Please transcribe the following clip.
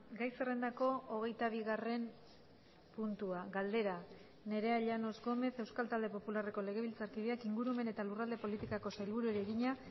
gai zerrendako hogeita bigarren puntua galdera nerea llanos gómez euskal talde popularreko legebiltzarkideak ingurumen eta lurralde politikako sailburuari egina